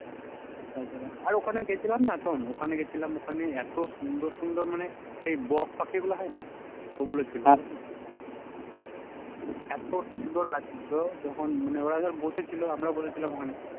তাছাড়া আর ওখানে গেছিলাম না শোন ওখানে গিয়েছিলাম ওখানে এত সুন্দর সুন্দর মানে সেই বক পাখি গুলো হয় না, ওগুলো ছিল এত সুন্দর লাগছিল যখন মানে ওরা যখন বসেছিল আমরাও বসেছিলাম ওখানে